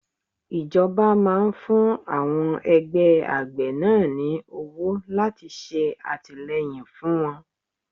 Ìjọba máa ń fún àwọn ẹgbẹ́ àgbẹ̀ náà ní owó láti ṣe àtìleyìn fún wọn.